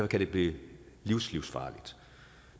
kan det blive livslivsfarligt